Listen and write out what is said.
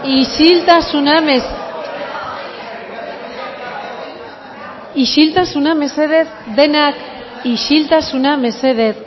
isiltasuna isiltasuna mesedez denak isiltasuna mesedez